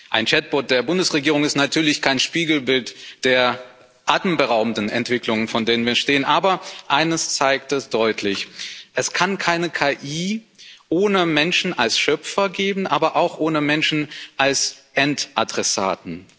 Ein Chat Bot der Bundesregierung ist natürlich kein Spiegelbild der atemberaubenden Entwicklungen, vor denen wir stehen, aber eines zeigt er deutlich Es kann keine KI ohne Menschen als Schöpfer geben, aber auch ohne Menschen als Endadressaten.